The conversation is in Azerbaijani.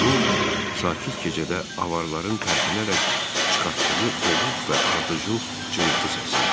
Bu sakit gecədə avarların tərpinərək çıxartdığı boğuq və ardıcıl cırıltı səsi idi.